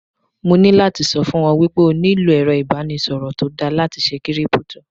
Mo ní láti sọ fún ọ wípé o nílò èrọ ìbánisọ̀rọ̀ tó dára láti ṣe Kírípútò.